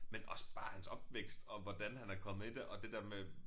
Men også bare hans opvækst og hvordan han er kommet i det og det der med